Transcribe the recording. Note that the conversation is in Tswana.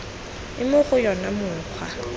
e mo go yona mokgwa